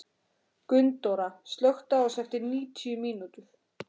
Gunndóra, slökktu á þessu eftir níutíu mínútur.